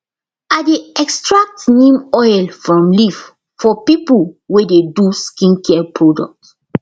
i dey extract neem oil from leaf for people wey dey do skincare product